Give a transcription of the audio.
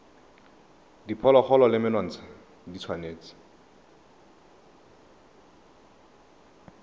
diphologolo le menontsha e tshwanetse